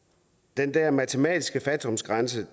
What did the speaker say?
den der matematiske fattigdomsgrænse